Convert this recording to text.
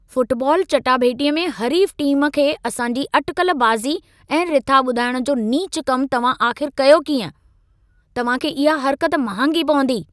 Football चाटाभेटीअ में हरीफ़ टीम खे असांजी अटिकल बाज़ी ऐं रिथा ॿुधाइण जो नीचु कमु तव्हां आख़िर कयो कीअं? तव्हां खे इहा हरकत महांगी पवंदी।